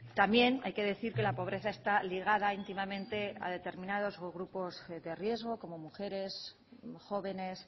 también hay que decir que la pobreza está ligada íntimamente a determinados grupos de riesgo como mujeres jóvenes